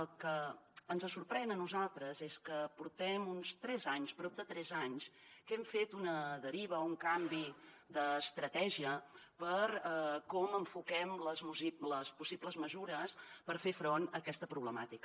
el que ens sorprèn a nosaltres és que portem uns tres anys prop de tres anys que hem fet una deriva o un canvi d’estratègia de com enfoquem les possibles mesures per fer front a aquesta problemàtica